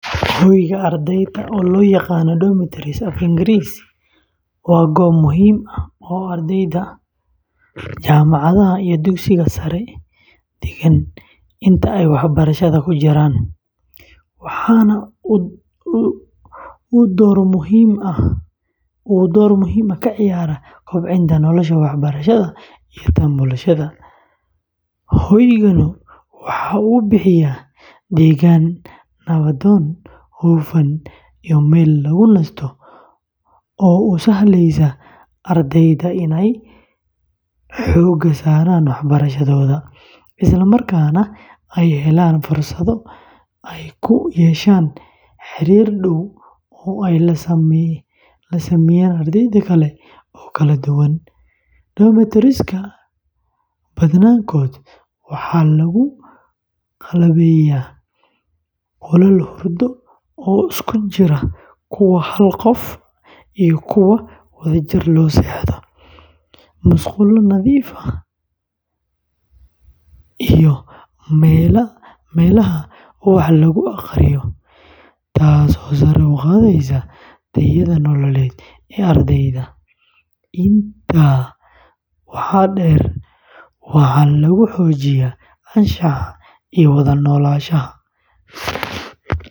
Hoyga ardayda, oo loo yaqaan "domitories" af Ingiriisi, waa goob muhiim ah oo ay ardayda jaamacadaha iyo dugsiyada sare degaan inta ay waxbarashada ku jiraan, waxaana uu door muhiim ah ka ciyaaraa kobcinta noloshooda waxbarasho iyo tan bulsho. Hoyganu waxa uu bixiyaa deegaan nabdoon, hufan, iyo meel lagu nasto oo u sahlaysa ardayda inay xoogga saaraan waxbarashadooda, isla markaana ay helaan fursado ay ku yeeshaan xiriir dhow oo ay la sameeyaan arday kale oo kala duwan. Domitories-ka badankood waxaa lagu qalabeeyaa qolal hurdo oo isugu jira kuwa hal qof ah iyo kuwo wadajir loo seexdo, musqulo nadiif ah iyo meelaha wax lagu akhriyo, taasoo sare u qaadaysa tayada nololeed ee ardayga. Intaa waxaa dheer, waxaa lagu xoojiyaa anshaxa iyo wada noolaanshaha.